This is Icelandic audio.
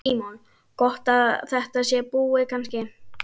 Símon: Gott að þetta sé búið kannski?